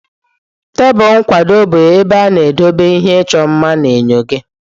Tebụl nkwado bụ ebe ị na-edobe ihe ịchọ mma na enyo gị.